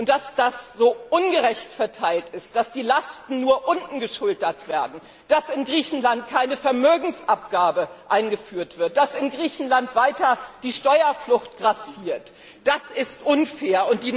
Und dass das so ungerecht verteilt ist, dass die Lasten nur unten geschultert werden, dass in Griechenland keine Vermögensabgabe eingeführt wird, dass in Griechenland weiter die Steuerflucht grassiert, das ist unfair.